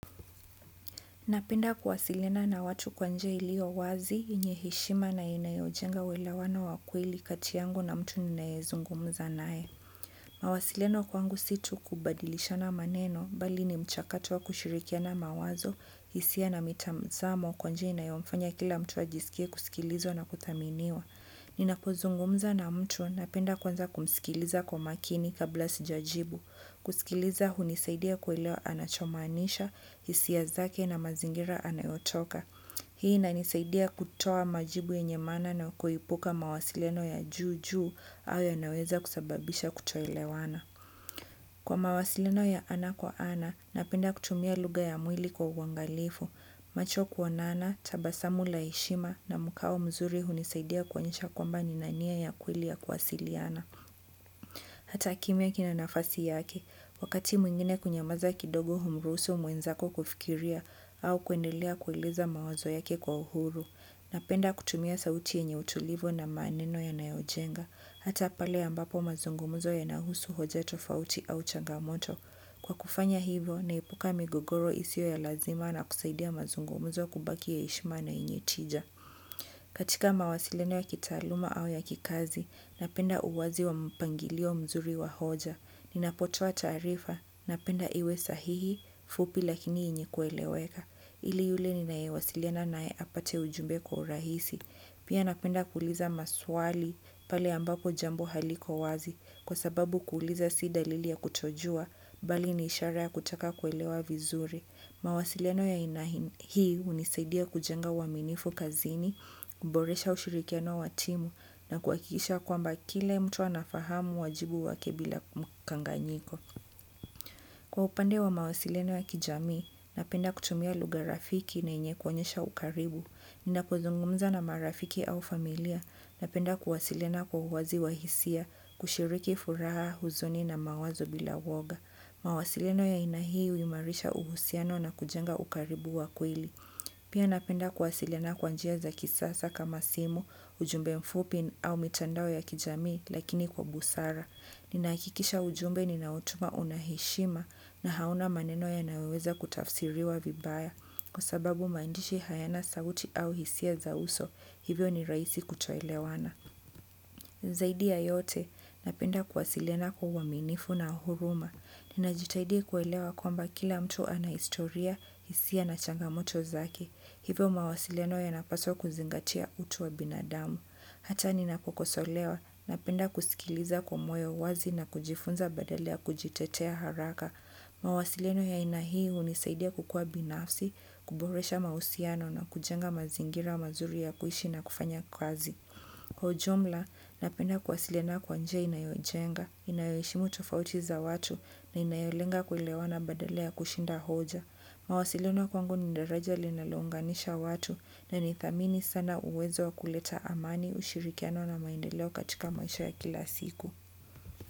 Napenda kuwasiliana na watu kwa njia ilio wazi, yenye heshima na inayojenga uelewano wa kweli kati yangu na mtu ninayezungumza naye. Mawasiliano kwangu si tu kubadilishana maneno, bali ni mchakato wa kushirikiana mawazo, isia na mitamzamo kwa njia inayomfanya kila mtu ajiskie kusikilizwa na kuthaminiwa. Ninapo zungumza na mtu napenda kwanza kumsikiliza kwa makini kabla sijajibu. Kuskiliza hunisaidia kuelewa anachomaanisha, isia zake na mazingira anayotoka. Hii inanisaidia kutoa majibu yenye maana na kuepuka mawasiliano ya juu juu hayo yanaweza kusababisha kutoelewana. Kwa mawasiliano ya ana kwa ana, napenda kutumia lugha ya mwili kwa uangalifu. Macho kuonana, tabasamu la heshima na mkao mzuri hunisaidia kuonesha kwamba nina nia ya kweli ya kuwasiliana. Hata kimya kina nafasi yake, wakati mwingine kunyamaza kidogo humruhusu mwenzako kufikiria au kuendelea kueleza mawazo yake kwa uhuru. Napenda kutumia sauti yenye utulivo na maaneno yanayojenga, hata pale ambapo mazungumzo yanahusu hoja tofauti au changamoto. Kwa kufanya hivo, naepuka migogoro isio ya lazima na kusaidia mazungumuzo kubaki ya eshima yenye tija. Katika mawasiliano ya kitaaluma au ya kikazi, napenda uwazi wa mpangilio mzuri wa hoja. Ninapotoa taarifa, napenda iwe sahihi, fupi lakini yenye kueleweka. Ili yule ninayewasiliana naye apate ujumbe kwa urahisi. Pia napenda kuuliza maswali pale ambapo jambo haliko wazi. Kwa sababu kuuliza si dalili ya kutojua, bali ni ishara ya kutaka kuelewa vizuri. Mawasiliano ya aina hii unisaidia kujenga uaminifu kazini, kuboresha ushirikiano wa timu, na kuakisha kwamba kile mtu anafahamu wajibu wake bila mkanganyiko. Kwa upande wa mawasiliano ya kijamii, napenda kutumia lugha rafiki na yenye kuonyesha ukaribu. Ninapo zungumza na marafiki au familia, napenda kuwasiliana kwa uwazi wa hisia, kushiriki furaha huzuni na mawazo bila woga. Mawasiliano ya aina hii uimarisha uhusiano na kujenga ukaribu wa kweli. Pia napenda kuwasiliana kwa njia za kisasa kama simu, ujumbe mfupi au mitandao ya kijamii lakini kwa busara. Ninahakikisha ujumbe ninaotuma una heshima na hauna maneno yanayoweza kutafsiriwa vibaya. Kwa sababu maandishi hayana sauti au hisia za uso, hivyo ni raisi kutoelewana. Zaidi ya yote, napenda kuwasiliana kwa uaminifu na huruma. Ninajitahidi kuelewa kwamba kila mtu ana historia, hisia na changamoto zake. Hivyo mawasiliano yanapaswa kuzingatia utu wa binadamu. Hata ninapokosolewa, napenda kuskiliza kwa moyo wazi na kujifunza badala ya kujitetea haraka. Mawasiliano ya aina hii unisaidia kukua binafsi, kuboresha mausiano na kujenga mazingira mazuri ya kuishi na kufanya kazi. Kwa ujumla, napenda kuwasiliana kwa njia inayojenga, inayoeshimu tofauti za watu na inayolenga kuelewana badala ya kushinda hoja. Mawasiliano kwangu ni ndaraja linalounganisha watu na ni thamini sana uwezo wa kuleta amani ushirikiano na maendeleo katika maisha ya kila siku.